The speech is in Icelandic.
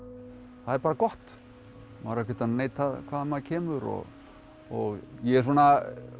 það er bara gott maður á ekkert að neita hvaðan maður kemur og og ég er svona